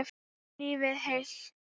Lifið heil.